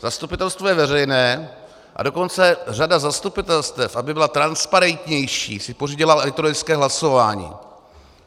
Zastupitelstvo je veřejné, a dokonce řada zastupitelstev, aby byla transparentnější, si pořídila elektronické hlasování.